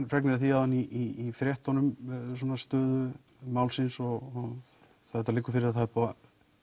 fregnir af því áðan í fréttunum með stöðu málsins og það liggur fyrir að það er búið að